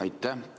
Aitäh!